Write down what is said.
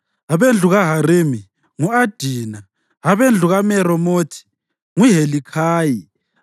abendlu kaHarimi, ngu-Adina; abendlu kaMeremothi, nguHelikhayi;